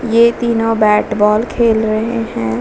ये तीनो bat ball खेल रहे है।